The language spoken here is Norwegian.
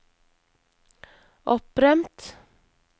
opprømt